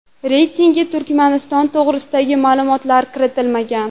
Reytingga Turkmaniston to‘g‘risidagi ma’lumotlar kiritilmagan.